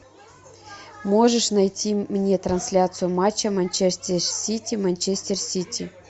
можешь найти мне трансляцию матча манчестер сити манчестер сити